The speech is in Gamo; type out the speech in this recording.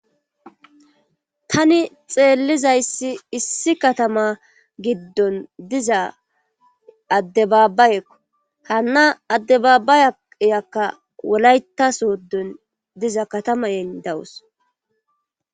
tani xeellizayssi issi katama giddon diza addebaabayekko hana adde babayayakka wolaytasoddon diza katamayen dawos